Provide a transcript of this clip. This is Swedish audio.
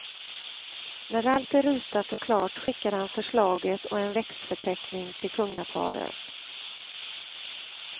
När allt är ritat och klart skickar han förslaget och en växtförteckning till kungaparet.